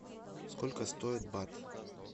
сколько стоит бат